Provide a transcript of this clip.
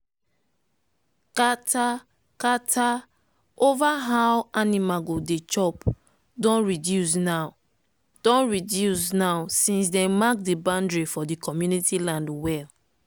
kata-kata over how animal go dey chop don reduce now don reduce now since dem mark the boundary for the community land well.